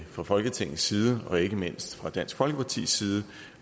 fra folketingets side og ikke mindst fra dansk folkepartis side